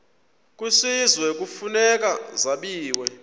kwisizwe kufuneka zabiwe